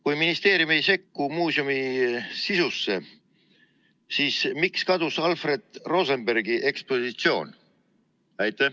Kui ministeerium ei sekku muuseumi sisusse, siis miks kadus Alfred Rosenbergi ekspositsioon?